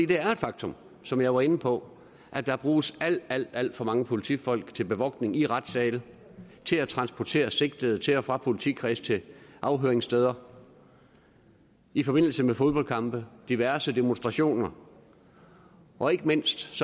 det er et faktum som jeg var inde på at der bruges alt alt for mange politifolk til bevogtning i retssale til at transportere sigtede til og fra politikreds til afhøringssteder i forbindelse med fodboldkampe diverse demonstrationer og ikke mindst